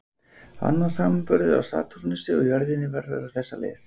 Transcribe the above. Annar samanburður á Satúrnusi og jörðinni verður á þessa leið